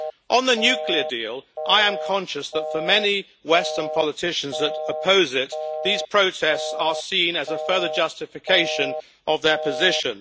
On the nuclear deal, I am conscious that for many Western politicians who oppose it these protests are seen as a further justification of their position.